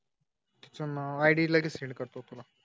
तेच नाव आणि ईद लगेच सेंड करतो तुला